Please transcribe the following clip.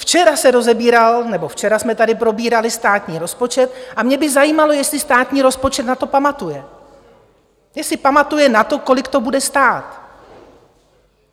Včera se rozebíral - nebo včera jsme tady probírali - státní rozpočet a mě by zajímalo, jestli státní rozpočet na to pamatuje, jestli pamatuje na to, kolik to bude stát.